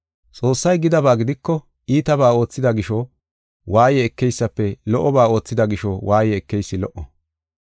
Xoossay gidaba gidiko iitabaa oothida gisho waaye ekeysafe lo77oba oothida gisho waaye ekeysi lo77o.